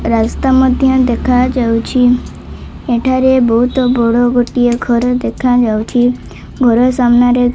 ରାସ୍ତା ମଧ୍ଯ ଦେଖାଯାଉଛି ଏଠାରେ ବହୁତ ବଡ଼ ଗୋଟିଏ ଘର ଦେଖାଯାଉଛି ଘର ସାମ୍ନାରେ --